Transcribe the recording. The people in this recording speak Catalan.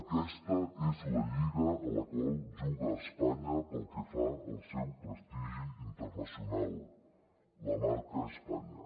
aquesta és la lliga a la qual juga espanya pel que fa al seu prestigi internacional la marca españa